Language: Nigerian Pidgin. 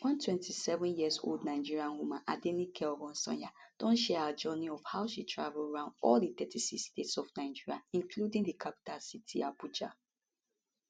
one 27yearold nigerian woman adenike oresanya don share her journey of how she travel round all 36 states of nigeria including di capital city abuja